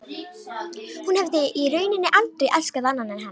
Hún hefði í rauninni aldrei elskað annan en hann.